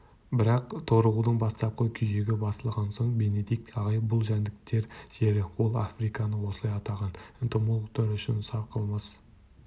бірақ торығудың бастапқы күйігі басылған соң бенедикт ағай бұл жәндіктер жері ол африканы осылай атаған энтомологтар үшін сарқылмас